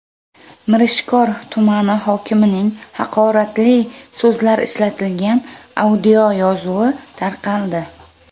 Mirishkor tumani hokimining haqoratli so‘zlar ishlatilgan audioyozuvi tarqaldi.